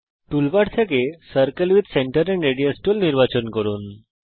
toolbar থেকে circle with centre and radius tool নির্বাচন করুন